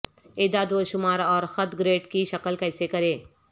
اعداد و شمار اور خط گریڈ کی شکل کیسے کریں